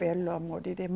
Pelo amor de